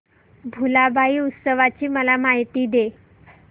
भुलाबाई उत्सवाची मला माहिती दे